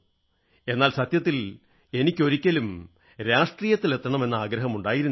എന്നാൽ സത്യത്തിൽ എനിക്ക് ഒരിക്കലും രാഷ്ട്രീയത്തിലെത്തണമെന്ന ആഗ്രഹമുണ്ടായിരുന്നില്ല